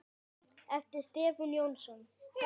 eftir Stefán Jónsson